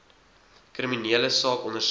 kriminele saak ondersoek